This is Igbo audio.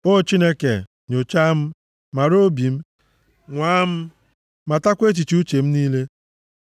O Chineke, nyochaa m, mara obi m. Nwaa m, matakwa echiche uche m niile.